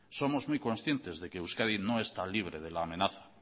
somos muy conscientes de que euskadi no está libre de la amenaza